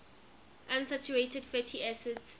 unsaturated fatty acids